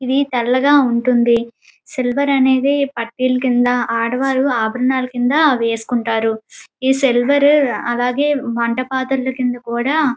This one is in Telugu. ఇది తెల్లగా ఉంటుంది. సిల్వర్ అనేది పట్టీలు కింద ఆడవారు ఆభరణాలు కింద వేసుకుంటారు. ఈ సిల్వర్ అలాగే వంట పాత్రుల కింద కూడా --